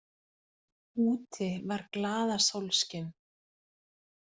Úti var glaðasólskin.